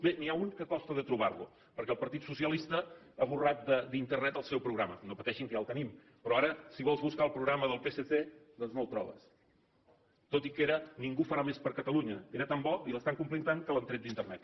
bé n’hi ha un que costa de trobar lo perquè el partit socialista ha esborrat d’internet el seu programa no pateixin que ja el tenim però ara si vols buscar el programa del psc doncs no el trobes tot i que era ningú farà més per catalunya era tan bo i l’estan complint tant que l’han tret d’internet